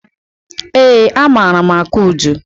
Eé, amaara m akụ udu.